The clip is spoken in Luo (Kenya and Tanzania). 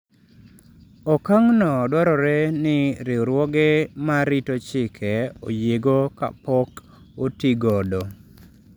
Okang’no dwarore ni riwruoge ma rito chike oyiego kapok otigodo.